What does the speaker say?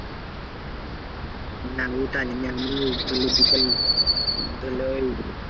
না ওটা নয় আমাদের ধরলে বিকাল ধরলে ওই